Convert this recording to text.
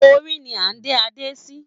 Orí ni à ń dé adé sí.